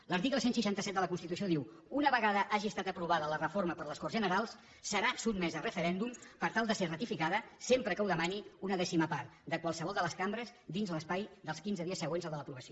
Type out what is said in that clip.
l’article cent i seixanta set de la constitució diu una vegada hagi estat aprovada la reforma per les corts generals serà sotmesa a referèndum per tal de ser ratificada sempre que ho demani una dècima part de qualsevol de les cambres dins l’espai dels quinze dies següents al de l’aprovació